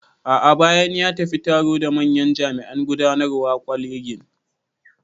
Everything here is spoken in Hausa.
A'a bayanan, ya tafi taro da manyan jami'an gudanarwan kwalegin